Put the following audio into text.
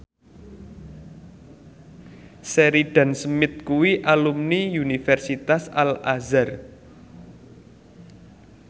Sheridan Smith kuwi alumni Universitas Al Azhar